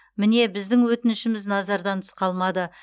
міне біздің өтінішіміз назардан тыс қалмады